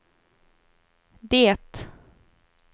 det